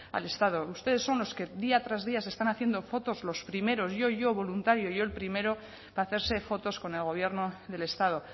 al estado ustedes son los que día tras día se están haciendo fotos los primeros yo yo voluntario yo el primero para hacerse fotos con el gobierno del estado